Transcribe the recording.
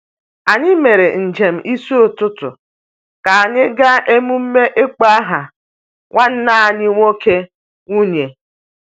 Anyị mere njem n’isi ụtụtụ ka anyị gaa emume ịkpọ aha nwanne anyị nwoke/nwunye.